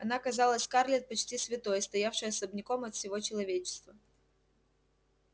она казалась скарлетт почти святой стоявшей особняком от всего человечества